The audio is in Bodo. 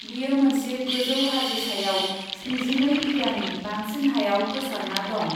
बेयो मोनसे गोजौ हाजो सायाव स्निजिनै बिघानि बांसिन हायाव गोसारना दं।